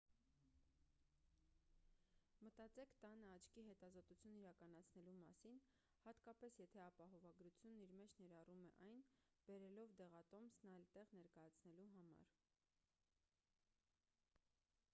մտածեք տանը աչքի հետազոտություն իրականացնելու մասին հատկապես եթե ապահովագրությունն իր մեջ ներառում է այն բերելով դեղատոմսն այլ տեղ ներկայացնելու համար